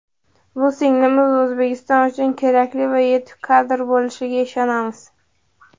bu singlimiz O‘zbekiston uchun kerakli va yetuk kadr bo‘lishiga ishonamiz!.